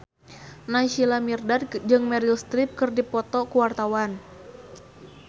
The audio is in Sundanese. Naysila Mirdad jeung Meryl Streep keur dipoto ku wartawan